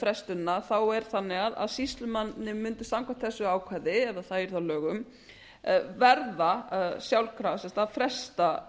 frestunina þá er það þannig að sýslumanni mundi samkvæmt þessu ákvæði ef það yrði þá að lögum verða sjálfkrafa að fresta